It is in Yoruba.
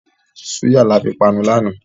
Súyà là fi panu lànà